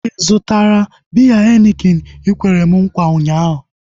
Ị zụtara biya henikin ikwere m nkwa ụnyaahụ?